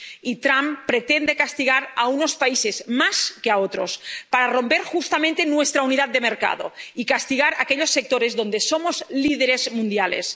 Y Trump pretende castigar a unos países más que a otros, para romper justamente nuestra unidad de mercado y castigar a aquellos sectores en los que somos líderes mundiales.